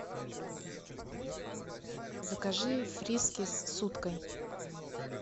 закажи фрискис с уткой